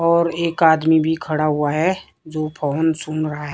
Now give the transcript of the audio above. और एक आदमी भी खड़ा हुआ है जो फोन सुन रहा है।